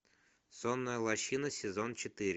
сонная лощина сезон четыре